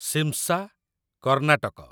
Shimsha, Karnataka